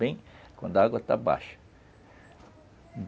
Bem quando a água está baixa.